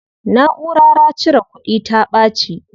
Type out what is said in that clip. Naʼurara cire kudin ta ɓaci.